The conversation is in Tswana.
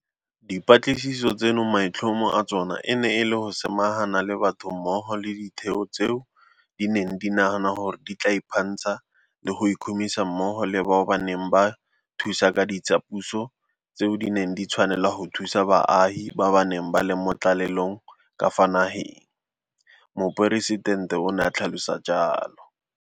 Dipatlisiso tseno maitlhomo a tsona e ne e le go samagana le batho mmogo le ditheo tseo di neng di nagana gore di tla iphantsha le go ikhumisa mmogo le bao ba neng ba ba thusa ka ditsapuso tseo di neng di tshwanela go thusa baagi ba ba neng ba le mo tlalelong ka fa nageng, Moporesitente o ne a tlhalosa jalo.